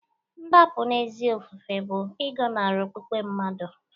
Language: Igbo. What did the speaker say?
Ndapụ n'ezi ofufe bụ ịgọnarị okpukpe mmadụ